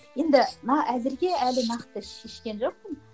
енді әзірге әлі нақты шешкен жоқпын